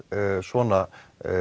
svona